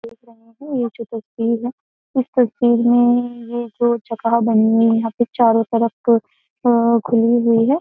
देख रहे हैं। ये एक तस्वीर है इस तस्वीर में ये जो जगह बनी हुई है यहां पे चारों तरफ अ खुली हुई है।